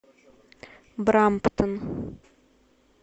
брамптон